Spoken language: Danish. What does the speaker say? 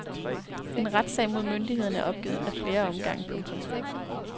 En retssag mod myndighederne er opgivet af flere omgange. punktum